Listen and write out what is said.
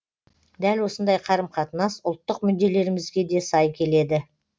дәл осындай қарым қатынас ұлттық мүдделерімізге де сай келеді